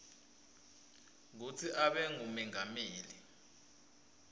kutsi abe ngumengameli